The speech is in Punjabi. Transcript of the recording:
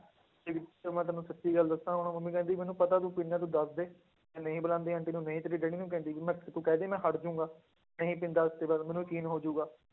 ਤੇ ਮੈਂ ਤੈਨੂੰ ਸੱਚੀ ਗੱਲ ਦੱਸਾਂ ਹੁਣ ਮੰਮੀ ਕਹਿੰਦੀ ਮੈਨੂੰ ਪਤਾ ਤੂੰ ਪੀਨਾ ਹੈ ਤੂੰ ਦੱਸਦੇ, ਮੈਂ ਨਹੀਂ ਬੁਲਾਉਂਦੀ ਆਂਟੀ ਨੂੰ ਨਹੀਂ ਤੇਰੇ ਡੈਡੀ ਨੂੰ ਕਹਿੰਦੀ, ਮੈਂ ਕਿਹਾ ਤੂੰ ਕਹਿ ਦੇ ਮੈਂ ਹਟ ਜਾਊਂਗਾ, ਨਹੀਂ ਪੀਂਦਾ ਅੱਜ ਦੇ ਬਾਅਦ ਮੈਨੂੰ ਯਕੀਨ ਹੋ ਜਾਉਗਾ,